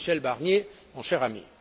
Michel Barnier, mon cher ami.